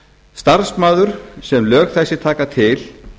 starfsmaður sem lög þessi taka til